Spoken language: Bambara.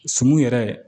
Sun yɛrɛ